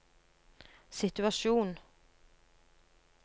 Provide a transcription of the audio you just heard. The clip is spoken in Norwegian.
situasjon